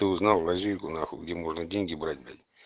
ты узнал лазейку нахуй где можно деньги брать блядь